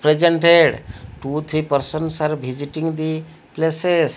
presented two three persons are visiting the places.